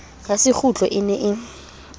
ya sekgutlo e ne e